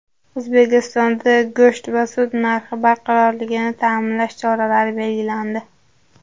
O‘zbekistonda go‘sht va sut narxi barqarorligini ta’minlash choralari belgilandi.